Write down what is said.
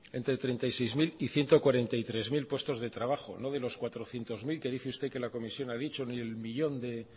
entre treinta y seis mil y ciento cuarenta y tres mil puestos de trabajo no de los cuatrocientos mil que dice usted que la comisión ha dicho ni del millón de